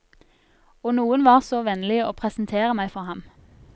Og noen var så vennlig å presentere meg for ham.